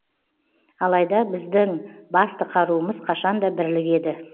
алайда біздің басты қаруымыз қашанда бірлік еді